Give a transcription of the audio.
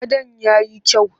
Gadon ya yi kyau?